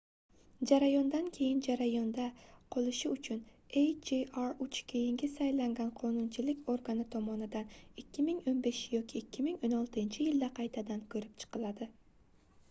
jarayondan keyin jarayonda qolishi uchun hjr-3 keyingi saylangan qonunchilik organi tomonidan 2015 yoki 2016-yilda qaytadan koʻrib chiqiladi